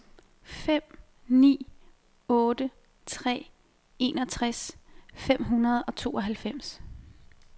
fem ni otte tre enogtres fem hundrede og tooghalvfems